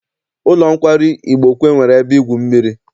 Ụlọ nkwari Igbokwe nwere ebe igwu mmiri.